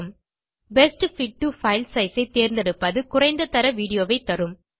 best fit to file size ஐ தேர்ந்தெடுப்பது குறைந்த தர வீடியோ ஐ தரும்